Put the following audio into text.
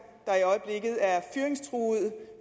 der i øjeblikket er fyringstruede